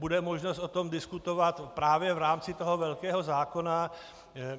Bude možnost o tom diskutovat právě v rámci toho velkého zákona.